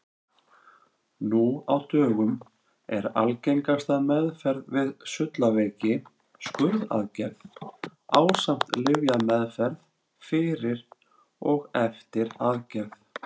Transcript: Nú á dögum er algengasta meðferð við sullaveiki skurðaðgerð ásamt lyfjameðferð fyrir og eftir aðgerð.